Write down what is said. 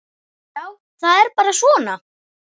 Já, það er bara svona.